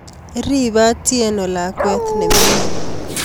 riipe Atieno lakwet nemining